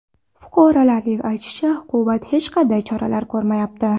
Fuqarolar aytishicha, hukumat hech qanday choralar ko‘rmayapti.